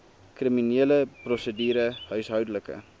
kriminele prosedure huishoudelike